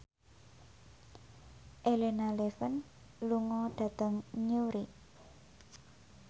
Elena Levon lunga dhateng Newry